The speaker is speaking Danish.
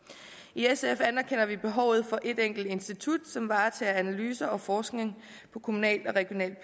i sf anerkender vi behovet for ét enkelt institut som varetager analyser og forskning på kommunalt og regionalt